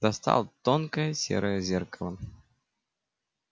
достал тонкое серое зеркало